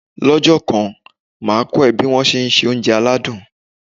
Lọ́jọ́ kan, màá kọ́ ẹ ní bí won tí se oúnjẹ aládùn.